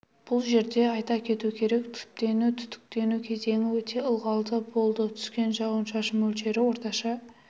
бұл жерде айта кету керек түптену түтіктену кезеңі өте ылғалды болды түскен жауын-шашын мөлшері орташа